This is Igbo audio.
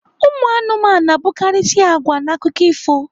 Umụanụmanụ na-abụkarịisi agwa n'akụkọ ifo